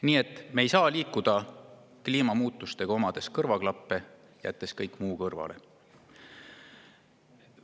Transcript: Nii et me ei saa kliimamuutusega, omades nagu kõrvaklappe ja jättes kõik muu kõrvale.